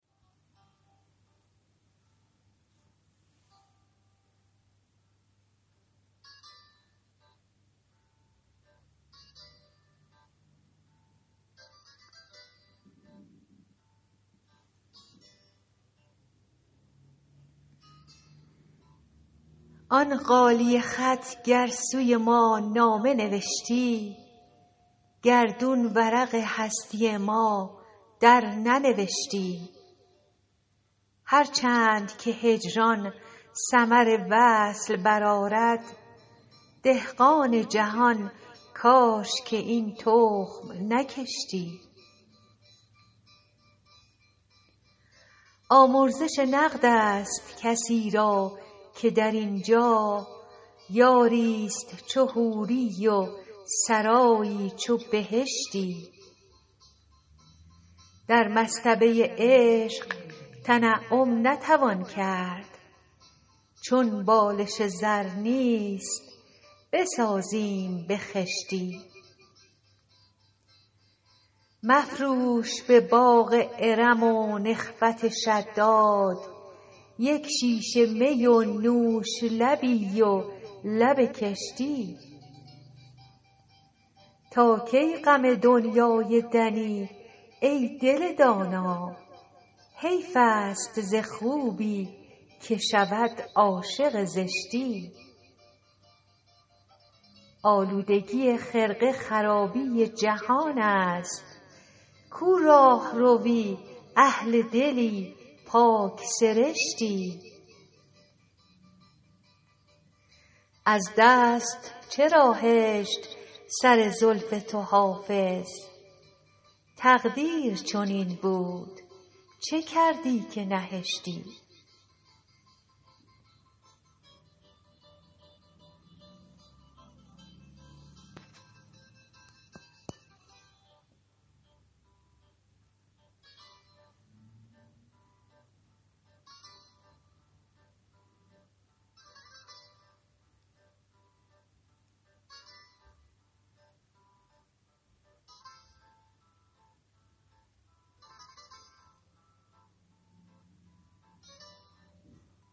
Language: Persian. آن غالیه خط گر سوی ما نامه نوشتی گردون ورق هستی ما درننوشتی هر چند که هجران ثمر وصل برآرد دهقان جهان کاش که این تخم نکشتی آمرزش نقد است کسی را که در این جا یاری ست چو حوری و سرایی چو بهشتی در مصطبه عشق تنعم نتوان کرد چون بالش زر نیست بسازیم به خشتی مفروش به باغ ارم و نخوت شداد یک شیشه می و نوش لبی و لب کشتی تا کی غم دنیای دنی ای دل دانا حیف است ز خوبی که شود عاشق زشتی آلودگی خرقه خرابی جهان است کو راهروی اهل دلی پاک سرشتی از دست چرا هشت سر زلف تو حافظ تقدیر چنین بود چه کردی که نهشتی